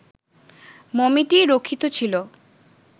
মমিটি রক্ষিত ছিল